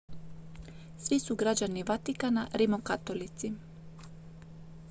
svi su građani vatikana rimokatolici